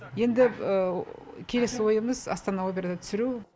енді келесі ойымыз астана операны түсіру